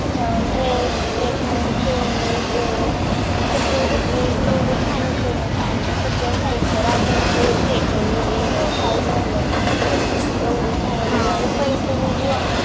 Dress सगळे सगळे एवढे छान येतंय ना कि सगळ्या Size तर आपण Check काही Problem नसतात